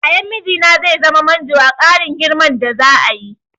Yayan mijina zai zama manjo a ƙarin girman da za'a yi.